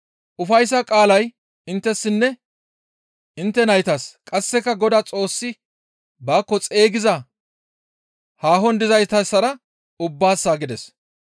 Ufayssa qaalay inttessinne intte naytassa; qasseka Godaa Xoossi baakko xeygiza haahon dizaytassara ubbaassa» gides.